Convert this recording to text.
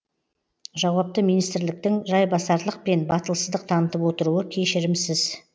жауапты министрліктің жайбасарлық пен батылсыздық танытып отыруы кешірімсіз